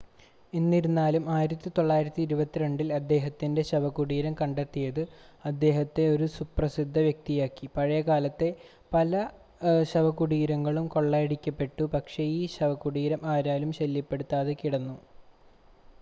എന്നിരുന്നാലും 1922-ൽ അദ്ദേഹത്തിൻ്റെ ശവകുടീരം കണ്ടെത്തിയത് അദ്ദേഹത്തെ ഒരു സുപ്രസിദ്ധ വ്യക്തിയാക്കി പഴയകാലത്തെ പല ശവകുടീരങ്ങളും കൊള്ളയടിക്കപ്പെട്ടു പക്ഷേ ഈ ശവകുടീരം ആരാലും ശല്യപ്പെടുത്താതെ കിടന്നു